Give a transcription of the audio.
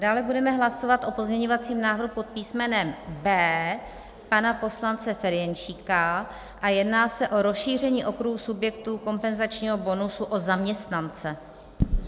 Dále budeme hlasovat o pozměňovacím návrhu pod písmenem B pana poslance Ferjenčíka a jedná se o rozšíření okruhu subjektů kompenzačního bonusu o zaměstnance.